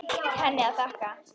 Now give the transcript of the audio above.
Allt henni að þakka.